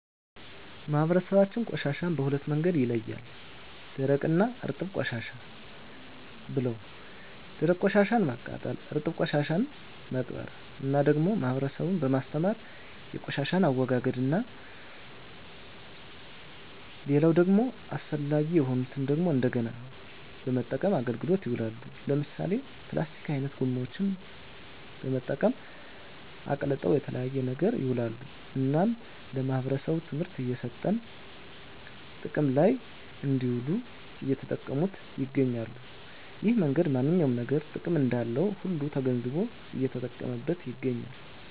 ማህበረሰባችን ቆሻሻን በሁለት መንገድ ይለያል ደረቅ እና እርጥብ ቆሻሻ ብለው ደረቅ ቆሻሻን ማቃጠል እርጥብ ቆሻሻን መቅበር እና ደግሞ ህብረተሰቡን በማስተማር የቆሻሻን አወጋገድ እና ሌላው ደግሞ አስፈላጊ የሆኑትን ደግሞ እንደገና በመጠቀም አገልግሎት ይውላሉ ለምሳሌ ፕላስቲክ አይነት ጎማዎችን በመጠቀም አቅልጠው ለተለያየ ነገር ይውላሉ እናም ለማህበረሰቡ ትምህርት እየሰጠን ጥቅም ለይ እንድውል እየተጠቀሙት ይገኛሉ እሄን መንገድ ማንኛውም ነገር ጥቅም እንዳለው ሁሉ ተገንዝቦ እየተጠቀመበት ይገኛል